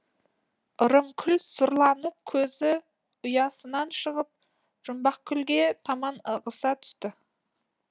ырымкүл сұрланып көзі ұясынан шығып жұмбақкүлге таман ығыса түсті